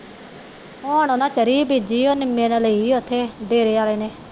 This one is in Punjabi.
ਹੁਣ ਉਹਨਾਂ ਨੇ ਤਰੀ ਬੀਜੀ ਨਿਮੇ ਨੇ ਲਈ ਉਥੇ ਡੇਰੇ ਆਲੇ ਨੇ